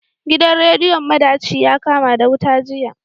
Gidan rediyon madaci yakama da wuta jiya.